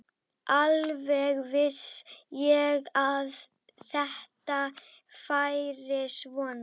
Sagðist ekki hlusta á svona endemis vitleysu.